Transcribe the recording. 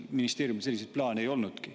Ministeeriumil selliseid plaane ei olnudki.